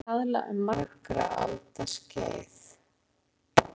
Hampur hefur verið notaður í kaðla um margra alda skeið.